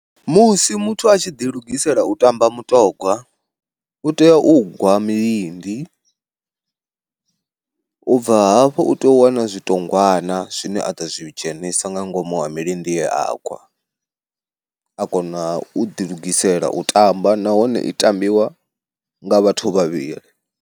Musi muthu a tshi ḓi lugisela u tamba mutongwa u tea u gwa milindi, ubva hafhu u tea u wana zwitongwana zwine a ḓo zwi dzheniswa nga ngomu ha milindi ye a gwa, a kona u ḓi lugisela u tamba nahone i tambiwa nga vhathu vhavhili.